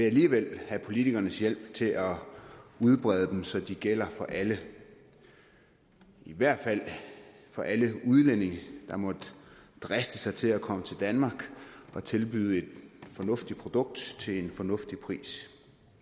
alligevel have politikernes hjælp til at udbrede dem så de gælder for alle i hvert fald for alle udlændinge der måtte driste sig til at komme til danmark og tilbyde et fornuftigt produkt til en fornuftig pris